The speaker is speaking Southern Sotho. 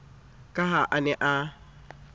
ka ha a ne a